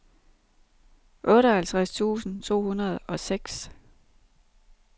otteoghalvtreds tusind to hundrede og seks